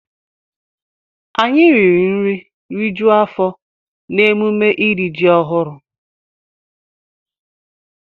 Anyị riri nri rijuo afọ n'emume iri ji ọhụrụ.